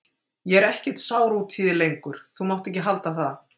Ég er ekkert sár út í þig lengur, þú mátt ekki halda það.